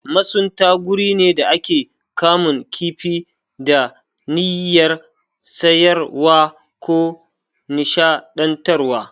Masunta guri ne da ake kamun kifi da niyyyar sayarwa ko nishaɗantarwa.